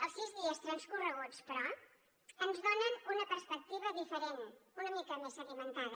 els sis dies transcorreguts però ens donen una perspectiva diferent una mica més sedimentada